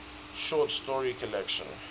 short story collection